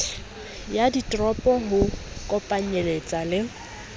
ya ditoropo ho kopanyeletsa le